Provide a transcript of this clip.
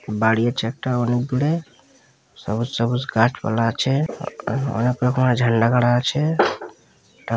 বাড়ি আছে একটা অনেক দূরে সবুজ সবুজ গাছপালা আছে অনেক রকমের ঝান্ডা খারা আছে টা--